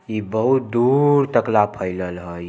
ई बहुत दूर तक ला फैलल हई।